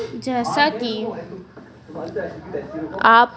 जैसा कि आप--